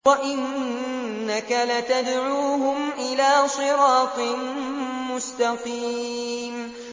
وَإِنَّكَ لَتَدْعُوهُمْ إِلَىٰ صِرَاطٍ مُّسْتَقِيمٍ